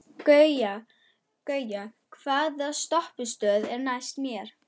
Gauja, hvaða stoppistöð er næst mér?